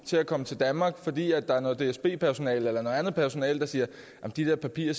til at komme til danmark fordi der er noget dsb personale eller noget andet personale der siger at de der papirer